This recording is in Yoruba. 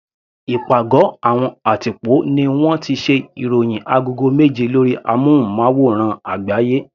Ìpàgọ́ àwọn àtìpó ní wọ́n ti ṣe ìròhìn agogo méje lórí amúnmáwòrán àgbáyé.